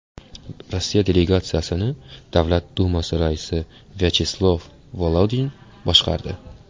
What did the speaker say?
Rossiya delegatsiyasini Davlat dumasi raisi Vyacheslav Volodin boshqardi.